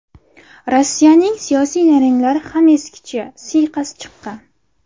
Rossiyaning siyosiy nayranglari ham eskicha, siyqasi chiqqan.